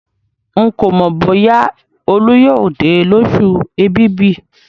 Ń kò mọ bóyá Olú yóò dé lósù èbìbì